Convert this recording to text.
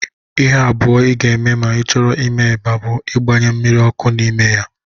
Ihe abụọ ị ga-eme ma ị chọrọ ime eba bụ igbanye mmiri ọkụ n'ime ya